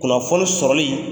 Kunnafoni sɔrɔli